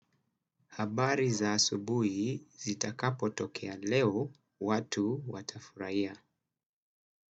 Habari za asubuhi zitakapo tokea leo watu watafurahia.